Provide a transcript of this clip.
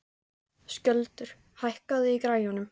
Skjöldur, hækkaðu í græjunum.